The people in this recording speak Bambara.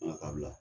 Nka kabila